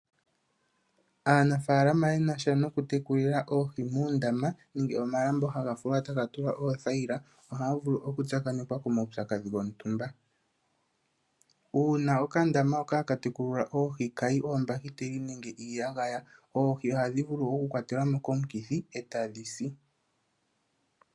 Aanafaalama ye nasha noku tekulila oohi muundama nenge momalambo ha ga fulwa taga tulwa oothayila, oha ya vulu oku tsakanekwa komawupyakadhi gontumba. Uuna okandama hoka haka tekulilwa oohi ka yi oombakiteli nenge iiyagaya oohi ohadhi vulu oku kwatelwa mo komukithi eta dhi si.